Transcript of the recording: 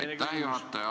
Aitäh, austatud juhataja!